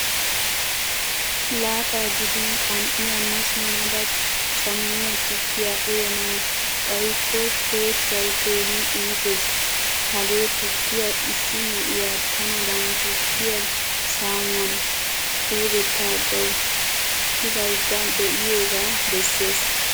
Laaxaa gidin qan'iyaa ma simmada cammiya tukkiya uyanawu xayikko peeshshay keehin iitees. Hagee tukkiyaa issi na'iyaa tanadan tukkiyaa saamuwan xuugetagawu tigayda deiyoga bessees.